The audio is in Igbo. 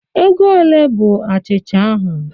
Ego olee bụ achịcha ahụ?